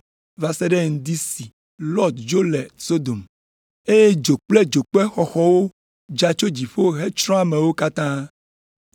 va se ɖe ŋdi si Lɔt dzo le Sodom. Eye dzo kple dzokpe xɔxɔwo dza tso dziƒo hetsrɔ̃ ameawo katã.